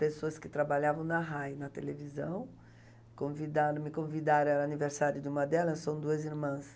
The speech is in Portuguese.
Pessoas que trabalhavam na Rai, na televisão, me convidaram, era aniversário de uma delas, são duas irmãs.